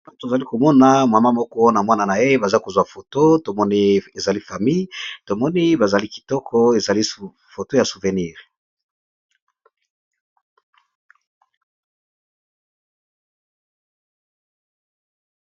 Elenge mwasi afandisi mwana naye na makolo. Mwana bakangiye suki ya maboko batiye pe mayaka na suka kitoko makasi.